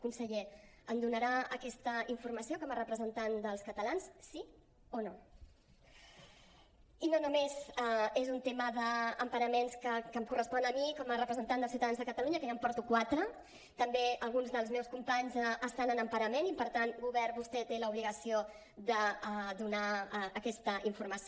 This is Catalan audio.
conseller em donarà aquesta informació com a representant dels catalans sí o no i no només és un tema d’emparaments que em correspon a mi com a representant dels ciutadans de catalunya que ja en porto quatre també alguns dels meus companys estan en emparament i per tant govern vostè té l’obligació de donar aquesta informació